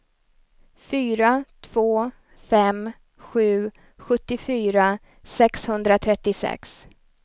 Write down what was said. fyra två fem sju sjuttiofyra sexhundratrettiosex